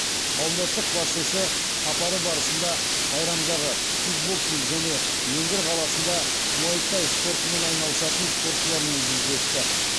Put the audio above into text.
қауымдастық басшысы сапары барысында сайрамдағы кикбоксинг және ленгір қаласында муайтай спортымен айналысатын спортшылармен жүздесті